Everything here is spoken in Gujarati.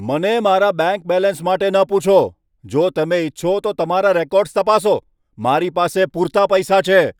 મને મારા બેંક બેલેન્સ માટે ન પૂછો. જો તમે ઇચ્છો તો તમારા રેકોર્ડ્સ તપાસો. મારી પાસે પૂરતા પૈસા છે.